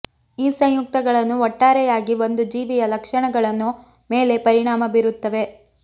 ಈ ಸಂಯುಕ್ತಗಳನ್ನು ಒಟ್ಟಾರೆಯಾಗಿ ಒಂದು ಜೀವಿಯ ಲಕ್ಷಣಗಳನ್ನು ಮೇಲೆ ಪರಿಣಾಮ ಬೀರುತ್ತವೆ